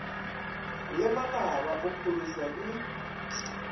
le manaba o phološwa ke